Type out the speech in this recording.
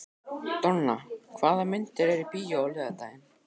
Donna, hvaða myndir eru í bíó á laugardaginn?